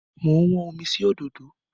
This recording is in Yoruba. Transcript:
Mo ń wọ́n omi sí òdòdó.